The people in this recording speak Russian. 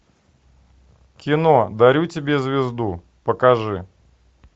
кино дарю тебе звезду покажи